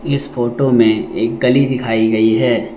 इस फोटो में एक गली दिखाई गई है।